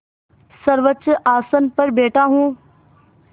सर्वोच्च आसन पर बैठा हूँ